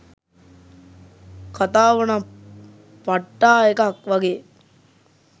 කතාවනං පට්ටා එකක් වගේ